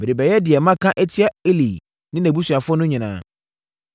Merebɛyɛ deɛ maka atia Eli ne nʼabusuafoɔ no nyinaa.